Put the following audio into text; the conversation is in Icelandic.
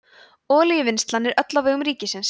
olíuvinnslan er öll á vegum ríkisins